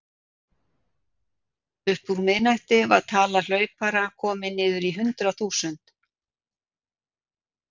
Upp úr miðnætti var tala hlaupara komin niður í hundrað þúsund.